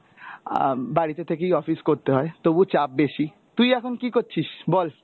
আহ উম বাড়িতে থেকেই office করতে হয় তবুও চাপ বেশি, তুই এখন কী করছিস বল?